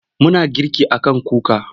Muna girki a kan kuka.